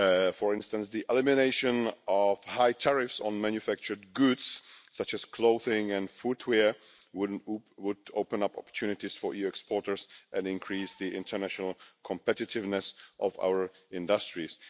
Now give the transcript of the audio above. For instance, the elimination of high tariffs on manufactured goods, such as clothing and footwear, would open up opportunities for EU exporters and increase the international competitiveness of our industries.